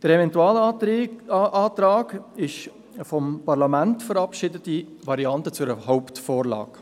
Der Eventualantrag ist die vom Parlament verabschiedete Variante zu einer Hauptvorlage.